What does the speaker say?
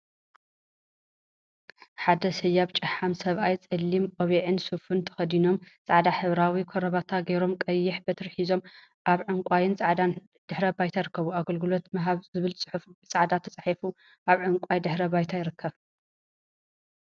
ሓደ ሰያብ ጨሓም ሰብአይ ፀሊም ቆቢዕን ሱፍን ተከዲኖም ፃዕዳ ሕብራዊ ከረባታ ገይሮም ቀያሕ በትሪ ሒዞም አብ ዕንቋይን ፃዕዳን ድሕረ ባይታ ይርከቡ፡፡ አገልግሎት ምሃብ ዝብል ፅሑፍ ብፃዕዳ ተፃሒፉ አብ ዕንቋይ ድሕረ ባይታ ይርከብ፡፡